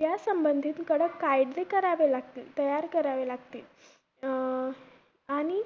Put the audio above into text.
या संबंधित कडक कायद करावे लागतील. तयार करावे लागतील. अं आणि